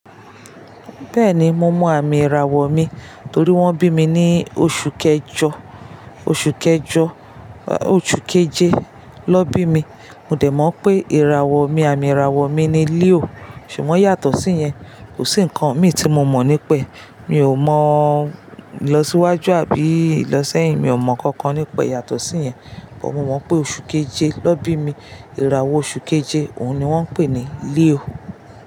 Bẹ́ẹ̀ni, mo mọ àmì ìràwọ̀ mi torí wón bí mi ní oṣù kẹjọ, oṣù kẹjọ, oṣù keje na bí mi. Mo dẹ̀ mọ̀ pé ìràwọ̀ mi, àmì ìràwọ̀ mi ni Leo. Ṣùgbọ́n yàtọ̀ sí yẹn, kò sí ǹkan mi tí mo mọ̀ nípa. Mi ò mọ ìlọsíwájú àbí ìlọ́sẹ̀yìn, mi ò mọ̀ kankan nípa yàtọ̀ sí yẹn. Ṣùgbọ́n mo mọ̀ pé oṣù keje lọ bí mi, ìràwọ̀ oṣù keje òun ni wọ́n ń pè ní Leo.